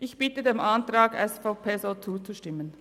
Ich bitte dem Antrag SVP zuzustimmen.